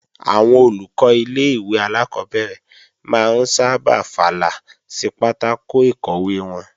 Àwọn Olùkọ́ ilé-ìwé alákọ́bẹ̀rẹ̀ máa ń sábà fàlà sí pátákò ìkọ̀wé wọn